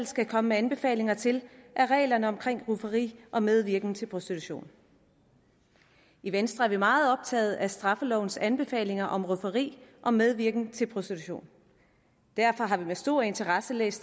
skal komme med anbefalinger til er reglerne om rufferi og medvirken til prostitution i venstre er vi meget optaget af straffelovens anbefalinger om rufferi og medvirken til prostitution derfor har vi med stor interesse læst